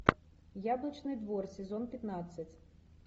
яблочный двор сезон пятнадцать